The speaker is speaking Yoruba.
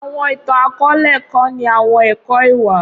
awọn itan-akọọlẹ kọni awọn ẹkọ iwa.